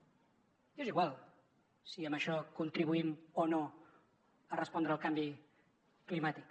i és igual si amb això contribuïm o no a respondre al canvi climàtic